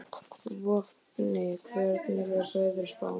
Vopni, hvernig er veðurspáin?